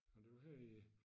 Nå det var her i